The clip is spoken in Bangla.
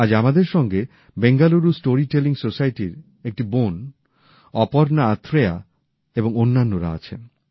আজ আমাদের সঙ্গে বেঙ্গালুরু স্টোরি টেলিং সোসাইটির এক বোন অপর্ণা আথ্রেয়া এবং অন্যান্যরা আছেন